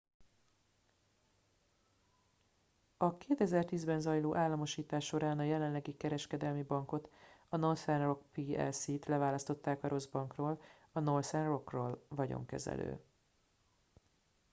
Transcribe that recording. a 2010-ben zajló államosítás során a jelenlegi kereskedelmi bankot a northern rock plc-t leválasztották a rossz bankról” a northern rock-ról vagyonkezelő